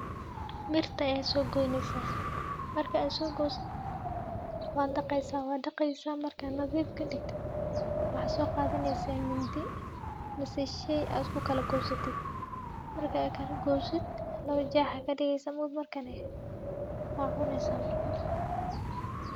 Mirta ayaa sogoyneysa marka aad sogoysid waad daqeysa wad daqeysa markad nadhiif kadigtid waxa soqadhaneysa mindi mise shey aad kukagosatid marka aad kalagosid lawa jeex aya kadigeysa maogt markani wa cuneysa marka.